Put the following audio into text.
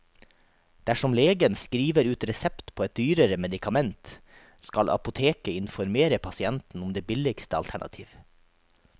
Dersom legen skriver ut resept på et dyrere medikament, skal apoteket informere pasienten om det billigste alternativ.